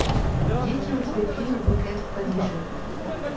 есть ли у тебя фильм уик энд в париже